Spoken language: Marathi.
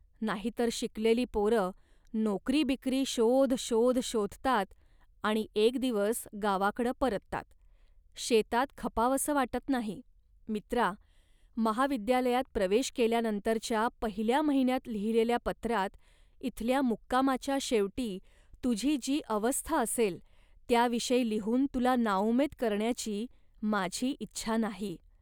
नाहीतर शिकलेली पोरं नोकरीबिकरी शोध शोध शोधतात आणि एक दिवस गावाकडं परतात, शेतात खपावसं वाटत नाही. मित्रा, महाविद्यालयात प्रवेश केल्यानंतरच्या पहिल्या महिन्यात लिहिलेल्या पत्रात इथल्या मुक्कामाच्या शेवटी तुझी जी अवस्था असेल त्याविषयी लिहून तुला नाउमेद करण्याची माझी इच्छा नाही